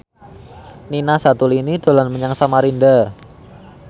Nina Zatulini dolan menyang Samarinda